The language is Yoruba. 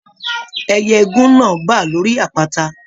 Ẹyẹ igún náà bá lórí àpáta.